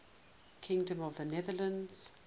kingdom of the netherlands